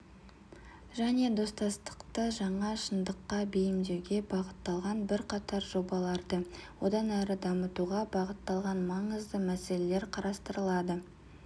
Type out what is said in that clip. және достастықты жаңа шындыққа бейімдеуге бағытталған бірқатар жобаларды одан әрі дамытуға бағытталған маңызды мәселелер қарастырылады